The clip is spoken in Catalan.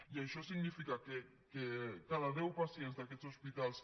i això significa que cada deu pacients d’aquests hospitals